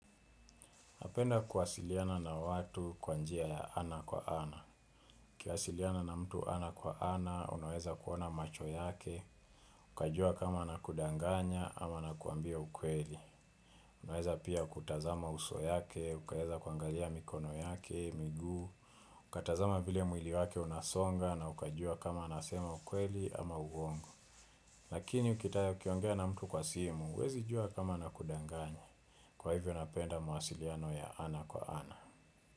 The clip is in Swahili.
Napenda kuwasiliana na watu kwa njia ya ana kwa ana. Kuwasiliana na mtu ana kwa ana, unaweza kuona macho yake. Ukajua kama na anakudanganya ama anakuambia ukweli. Unaweza pia kutazama uso yake, ukaweza kuangalia mikono yake, miguu. Ukatazama vile mwili wake unasonga na ukajua kama anasema ukweli ama uongo. Lakini ukitaka ukiongea na mtu kwa simu, huwezi jua kama anakudanganya. Kwa hivyo napenda mawasiliano ya ana kwa ana.